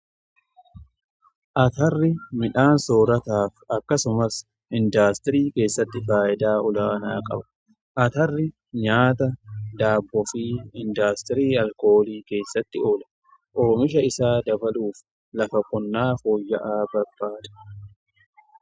Atarri midhaan soorataaf akkasumas indaastirii keessatti faayidaa olaanaa qaba. Atarri nyaata daabboo fi indaastirii alkoolii keessatti oola. Oomisha isaa dabaluuf lafa qonnaa fooyya'aa barbaada.